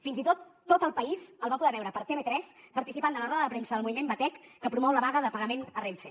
fins i tot tot el país el va poder veure per tv3 participant de la roda de premsa del moviment batec que promou la vaga de pagament a renfe